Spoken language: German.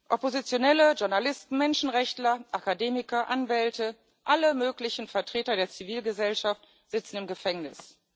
Oppositionelle, Journalisten, Menschenrechtler, Akademiker, Anwälte, alle möglichen Vertreter der Zivilgesellschaft sitzen im Gefängnis.